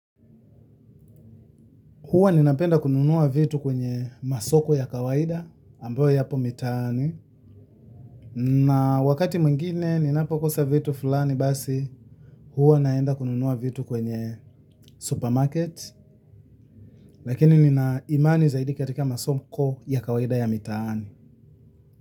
Huwa ninapenda kununua vitu kwenye masoko ya kawaida ambayo yapo mitaani na wakati mwingine ninapokosa vitu fulani basi huwa naenda kununua vitu kwenye supermarket. Lakini nina imani zaidi katika masoko ya kawaida ya mitaani.